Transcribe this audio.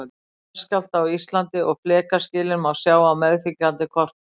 jarðskjálfta á íslandi og flekaskilin má sjá á meðfylgjandi kortum